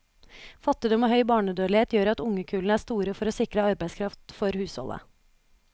Fattigdom og høy barnedødlighet gjør at ungekullene er store for å sikre arbeidskraft for husholdet.